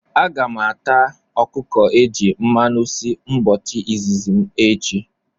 Aga m ata okuko eji mmanu si mbochi izizi m echi